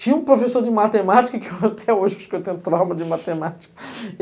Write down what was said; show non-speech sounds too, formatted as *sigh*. Tinha um professor de matemática, que até hoje eu acho que eu tenho trauma de matemática. *laughs*